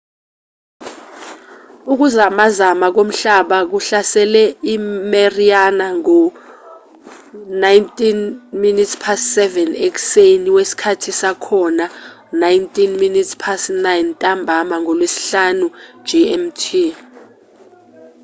ukuzamazama komhlaba kuhlasele i-mariana ngo-07:19 ekuseni wesikhathi sakhona 09:19 ntambama ngolwesihlanu gmt